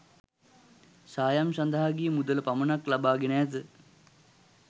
සායම් සඳහා ගිය මුදල පමණක් ලබා ගෙන ඇත.